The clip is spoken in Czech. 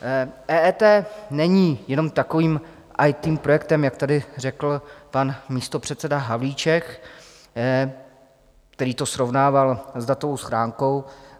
EET není jenom takovým IT projektem, jak tady řekl pan místopředseda Havlíček, který to srovnával s datovou schránkou.